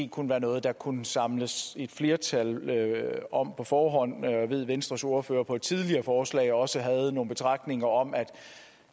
kunne være noget der kunne samles et flertal om på forhånd jeg ved at venstres ordfører med et tidligere forslag også havde nogle betragtninger om at